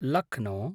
Lucknow